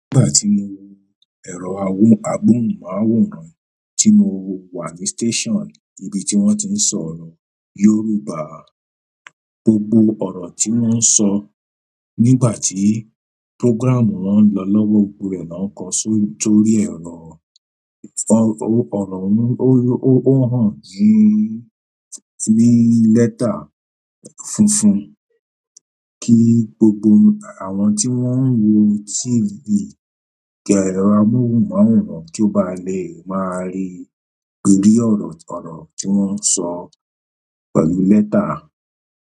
Nígbà tí mo wo ẹ̀rọ amóhùnmáwòrán tí mo wà ní station ibi tí wón ti ń sọ̀rọ̀ Yorùbá, gbogbo ọ̀rọ̀ tí wón ń sọ nígbà tí program wón ń lọ lọ́wọ́ gbogbo rẹ̀ náà ń kó sórí tórí ẹ̀rọ ọ̀ro ohun ó hàn ní, ní lẹ́tà funfun kí gbogbo àwọn tí wón ń wo TV amóhùnmáwòrán kí ó ba lè máa rí gbogbo ọ̀rọ̀ tí wón ń sọ pẹ̀lú lẹ́tà.